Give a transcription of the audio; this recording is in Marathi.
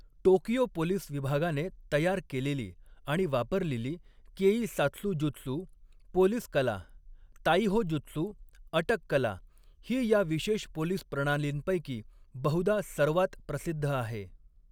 टोकियो पोलीस विभागाने तयार केलेली आणि वापरलेली केईसात्सुजुत्सू पोलिस कला ताईहो जुत्सू अटक कला ही या विशेष पोलिस प्रणालींपैकी बहुधा सर्वात प्रसिद्ध आहे.